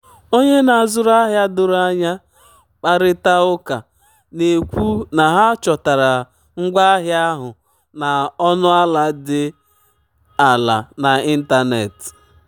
onye na-azụrụ ahịa doro anya kparịta ụka na-ekwu na ha chọtara ngwaahịa ahụ na ọnụ ala dị ala n'ịntanetị.